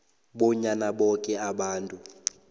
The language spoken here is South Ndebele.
bonyana boke abantu